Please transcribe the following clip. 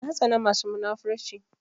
Na tsana masu munafurci